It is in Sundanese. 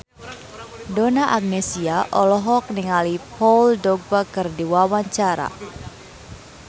Donna Agnesia olohok ningali Paul Dogba keur diwawancara